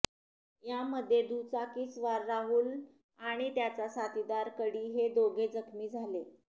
यामध्ये दुचाकीस्वार राहुल आणि त्याचा साथीदार कडी हे दोघे जखमी झाले